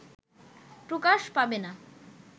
প্রকাশ পাবে না